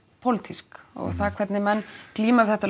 pólitísk og það hvernig menn glíma við þetta